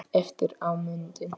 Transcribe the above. Eftir á mundi